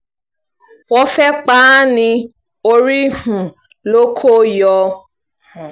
wọ́n fẹ́ẹ́ pa á ní orí um ló kó yọ um